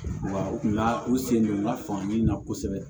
Wa u kun ka u sen don n ka faamuyali na kosɛbɛ